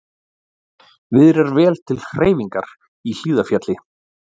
Viðrar vel til hreyfingar í Hlíðarfjalli